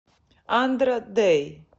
андра дэй